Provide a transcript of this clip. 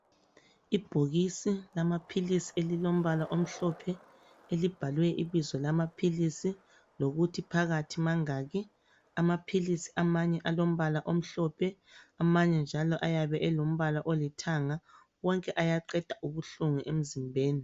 Ibhokisi lamaphilisi elilombala omhlophe elibhalwe ibizo lamaphilisi lokuthi phakathi mangaki amaphili amanye alombala omhlophe amanye njalo ayebe alombala olithanga wonke ayaqeda ubuhlungu emzimbeni.